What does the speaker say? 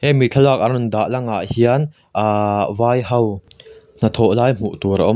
hemi thlalak an rawn dah lang ah hian ahhh vai ho hnathawh lai hmuh tur a awm a-- p